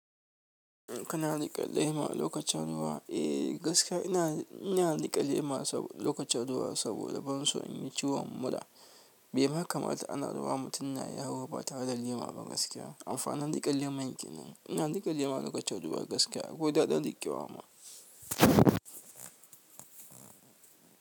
Kana riƙe lema lokacin ruwa? Eh gaskiya ina, ina riƙe lema lokacin ruwa saboda ban so in yi ciwon mura. Be ma kamata ana ruwa mutum na yawo ba tare da lema ba gaskiya. Amfanin riƙe leman kenan. Ina riƙe lema lokacin ruwa gaskiya akwai daɗin riƙewa ma.